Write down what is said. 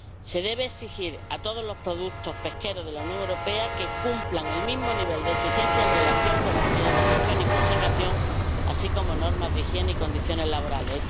Se debe exigir a todos los productos pesqueros de la Unión Europea que cumplan el mismo nivel de exigencia en relación con las medidas de gestión y conservación, así como normas de higiene y condiciones laborales.